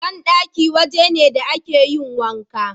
Banɗaki waje ne da a ke yin wanka